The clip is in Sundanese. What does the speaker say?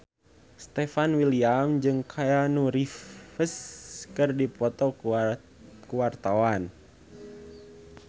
Stefan William jeung Keanu Reeves keur dipoto ku wartawan